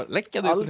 leggja þau